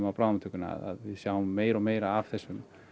á bráðamóttökunni að við sjáum meira og meira af þessum